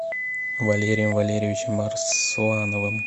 валерием валерьевичем арслановым